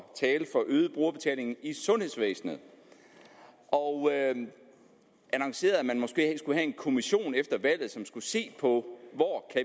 tale for øget brugerbetaling i sundhedsvæsenet og annonceret at man måske skulle have en kommission efter valget som skulle se på hvor